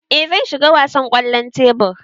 Ee zan shiga wasan kwallon tebur.